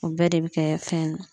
O bɛɛ de be kɛ fɛn in na